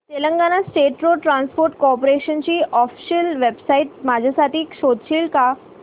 Telangana State Road Transport Corporation ची official website माझ्यासाठी शोधशील का